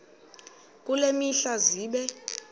kule mihla zibe